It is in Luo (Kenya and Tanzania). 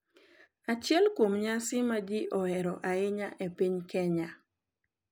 Achiel kuom nyasi ma ji ohero ahinya e piny Kenya